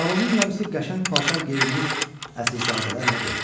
Salonun yarısı qəşəng paltar geyinmiş əsilzadələrlə doldu.